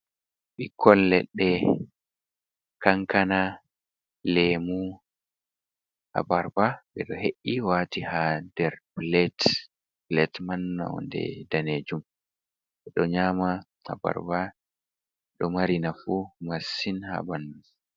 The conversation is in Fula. Ɓikkol ledde, Kankana, Lemu, Abarba. Ɓedo he’i wati ha der Pilat, Pilat man nonɗe danejum, be do nyama Aabarba do mari nafu masin habanɗu.